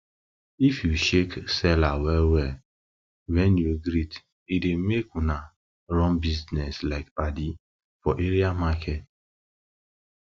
if you shake seller wellwell when you greet e dey make una run business like padi for area market for area market